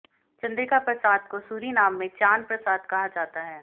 चंद्रिका प्रसाद को सूरीनाम में चान प्रसाद कहा जाता है